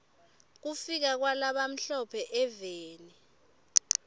kufika kwala bamhlo phe eveni